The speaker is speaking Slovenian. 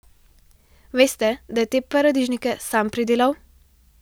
Veste, da je te paradižnike sam pridelal?